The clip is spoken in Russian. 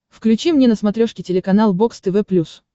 включи мне на смотрешке телеканал бокс тв плюс